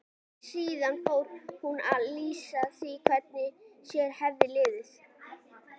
Síðan fór hún að lýsa því hvernig sér hefði liðið.